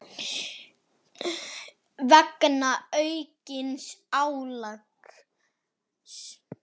vegna aukins álags.